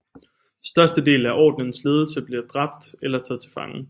Størstedelen af Ordenens ledelse blev dræbt eller taget til fange